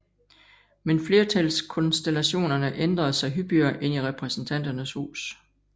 Men flertalskonstellationerne ændrede sig hyppigere end i Repræsentanternes Hus